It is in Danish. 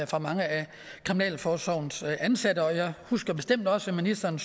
for mange af kriminalforsorgens ansatte jeg husker bestemt også at ministeren